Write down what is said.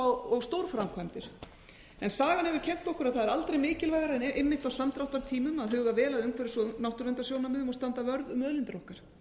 og stórframkvæmdir sagan hefur kennt okkur að það er aldrei mikilvægara en einmitt á samdráttartímum að huga vel að umhverfis og náttúruverndarsjónarmiðum og standa vörð um auðlindir okkar